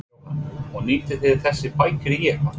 Jóhann: Og nýtið þið þessar bækur í eitthvað?